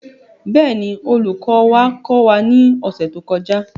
Bẹ́ẹ̀ ni, olùkọ́ wa kọ́ wa ní ọ̀sẹ̀ tó kọjá.